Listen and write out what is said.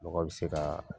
Mɔgɔ bɛ se ka